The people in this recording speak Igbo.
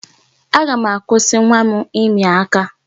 Aga m akwụsị nwa m ịmị aka.